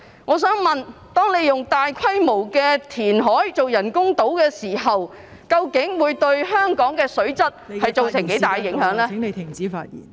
我想問，當進行大規模填海以興建人工島的時候，究竟......會對香港的水質造成多大影響呢？